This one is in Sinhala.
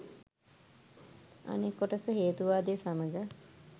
අනෙක් කොටස හේතුවාදය සමඟ